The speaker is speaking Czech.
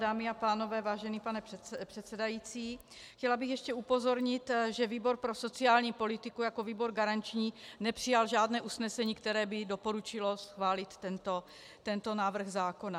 Dámy a pánové, vážený pane předsedající, chtěla bych ještě upozornit, že výbor pro sociální politiku jako výbor garanční nepřijal žádné usnesení, které by doporučilo schválit tento návrh zákona.